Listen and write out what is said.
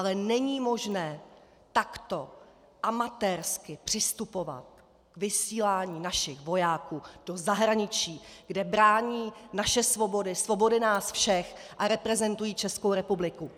Ale není možné takto amatérsky přistupovat k vysílání našich vojáků do zahraničí, kde brání naše svobody, svobody nás všech a reprezentují Českou republiku.